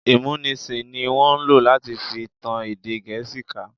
Ìmúnisì ní wọ́n lò láti fi tan èdè Gẹ̀ẹ́sì ká.